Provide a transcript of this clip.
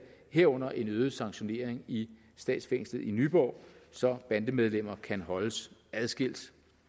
herunder en øget sanktionering i statsfængslet i nyborg så bandemedlemmer kan holdes adskilt